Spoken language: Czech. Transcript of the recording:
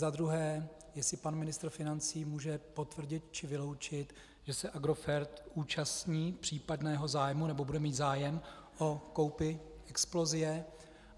Za druhé, jestli pan ministr financí může potvrdit či vyloučit, že se Agrofert zúčastní případného zájmu, nebo bude mít zájem o koupi Explosie.